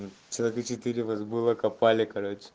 ну человека четыре вас было копали короче